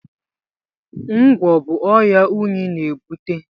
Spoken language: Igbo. Ngwọ̀ bụ ọrịa unyi na-ebute.